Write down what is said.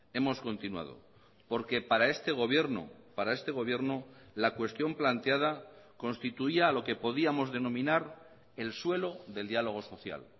hemos continuado porque para este gobierno para este gobierno la cuestión planteada constituía lo que podíamos denominar el suelo del diálogo social